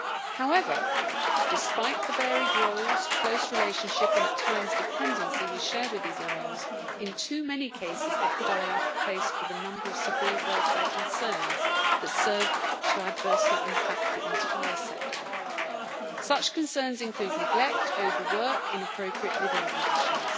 However, despite the varied roles, close relationship and at times dependency we share with these animals, in too many cases equidae are faced with a number of severe welfare concerns that serve to adversely impact the entire sector. Such concerns include neglect, overwork and inappropriate living conditions.